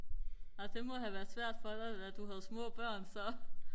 nej det må have været svært for dig da du havde små børn så